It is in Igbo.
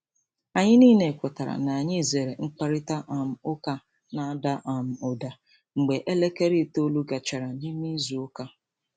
Anyị niile kwetara ka anyị zere mkparịta um ụka na-ada um ụda mgbe elekere itoolu gachara. n'ịme izu ụka.